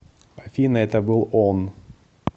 афина это был он